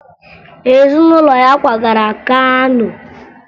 Ezunụlọ ya kwagara Kano